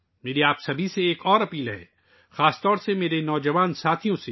میں آپ سب سے، خاص کر اپنے نوجوان دوستوں سے ایک اور بات کی درخواست کرتا ہوں